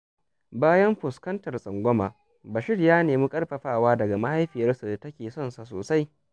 Bayan fuskantar tsangwama, Bashir ya nemi ƙarfafawa daga mahaifiyarsa da ke sonsa sosai.